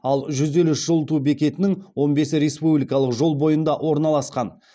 ал жүз елу үш жылыту бекетінің он бесі республикалық жол бойында орналасқан